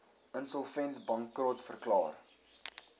insolvent bankrot verklaar